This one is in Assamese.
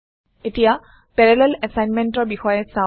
এতিয়া পেৰালেল assignmentৰ বিষয়ে চাওঁ